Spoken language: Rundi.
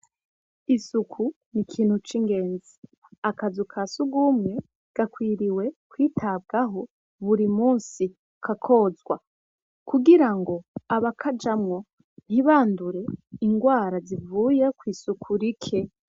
Isuku n'ikintu c'ingenzi akazu ka sugumwe gakwiriye kwitabwaho buri munsi kakozwa kugirango abakajamwo ntibandure ingwara zivuye kw'isuku rike.